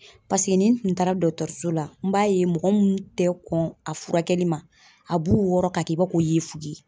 Paseke nin tun taara dɔgɔtɔrɔso la n b'a ye mɔgɔ mun tɛ kɔn a furakɛli ma a b'u wɔrɔ ka kɛ i b'a fɔ ko i yefuge .